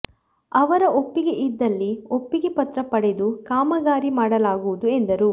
ಅವರ ಒಪ್ಪಿಗೆ ಇದ್ದಲ್ಲಿ ಒಪ್ಪಿಗೆ ಪತ್ರ ಪಡೆದು ಕಾಮಗಾರಿ ಮಾಡಲಾಗುವುದು ಎಂದರು